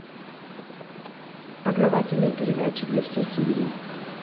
познавательные передачи для всей семьи